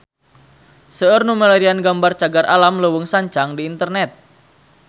Seueur nu milarian gambar Cagar Alam Leuweung Sancang di internet